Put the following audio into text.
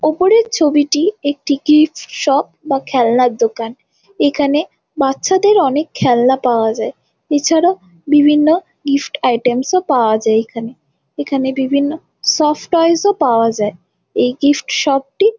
ওপরের ছবিটি একটি কিডস শপ বা খেলনার দোকান এইখানে বাচ্চাদের অনেকে খেলনা পাওয়া যায় এছাড়া বিভিন্ন গিফট আইটেম পাওয়া যাই এইখানে সফ্ট টয়েস ও পাওয়া যায় এই গিফট শপ টি।